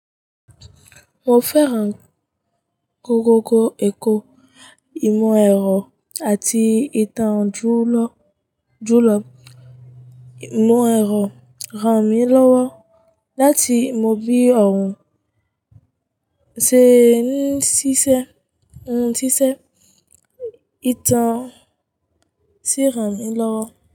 Mo fẹ́ ra kòkòkò Èkó. Ìmọ̀ ẹ̀rọ àti ìtàn jùló. Ìmọ̀ ẹ̀rọ ran mí lọ́wọ́ láti mo bí òrùn ṣe ń ṣíṣe, ohun ṣíṣe, ìtàn sì ran mí lọ́wọ́.